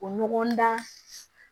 O ɲɔgɔn dan